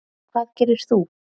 Hvað gerir þú?